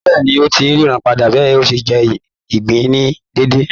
Bẹ́ẹ̀ni, ó ti ń ríran padà bí ó ṣe ń jẹ ìgbín ní déédé.